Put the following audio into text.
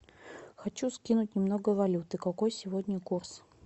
хочу скинуть немного валюты какой сегодня курс